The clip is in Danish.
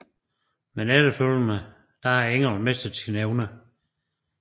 Men efterfælgende har englen mistet sine evner